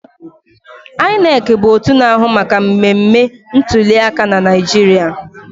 INEC bụ otu na-ahụ maka mmemme ntuliaka na Naịjirịa